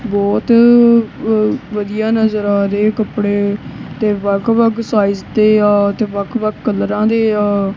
ਬਹੁਤ ਹੀ ਵਧੀਆ ਨਜਰ ਆ ਰਹੇ ਕੱਪੜੇ ਤੇ ਵੱਖ ਵੱਖ ਸਾਇਜ ਦੇ ਆ ਤੇ ਵੱਖ ਵਖਾ ਕਾਲਰਾਂ ਦੇ ਆ।